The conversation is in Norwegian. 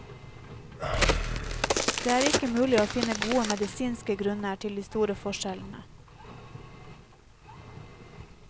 Det er ikke mulig å finne gode medisinske grunner til de store forskjellene.